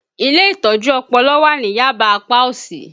Ilé Ìtọ́jú Ọpọlọ wà ní Yaba apá òsì